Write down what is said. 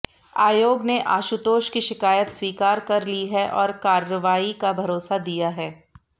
आयोग ने आशुतोष की शिकायत स्वीकार कर ली है और कार्रवाई का भरोसा दिया है